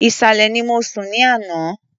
Ìsàlẹ̀ ni mo sùn ní àná.